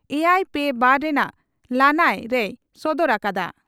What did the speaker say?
ᱮᱭᱟᱭ ᱯᱮ ᱵᱟᱨ ) ᱨᱮᱱᱟᱜ ᱞᱟᱹᱱᱟᱹᱭ ᱨᱮᱭ ᱥᱚᱫᱚᱨ ᱟᱠᱟᱫᱼᱟ ᱾